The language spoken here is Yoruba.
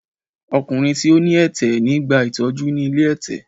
Ọkùnrin tí ó ní ẹ̀tẹ̀ ti gba ìtọ́jú ni ilé ẹ̀tẹ̀.